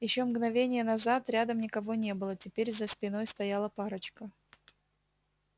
ещё мгновение назад рядом никого не было теперь за спиной стояла парочка